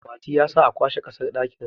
Mati ya sa a kwashe kasar dakinsa